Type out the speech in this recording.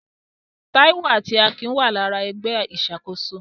Taiwo àti Akin wà lára ẹgbẹ́ ìṣàkóso.